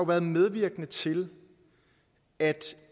er medvirkende til at